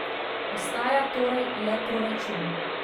Ostaja torej le proračun.